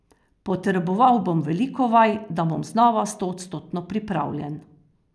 Potreboval bom veliko vaj, da bom znova stoodstotno pripravljen.